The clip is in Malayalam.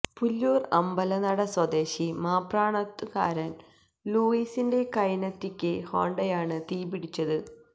പുല്ലുൂര് അമ്പലനട സ്വദേശി മാപ്രാണത്ത്ക്കാരന് ലൂയിസിന്റെ കൈനറ്റിക്ക് ഹോണ്ടയാണ് തീപിടിച്ചത്